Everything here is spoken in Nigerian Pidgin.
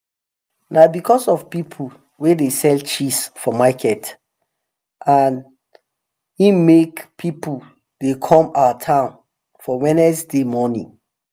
na becos of people wey dey sell cheese for market an em make people dey come our town for wednesday morning